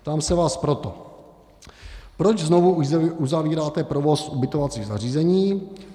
Ptám se vás proto: Proč znovu uzavíráte provoz ubytovacích zařízení?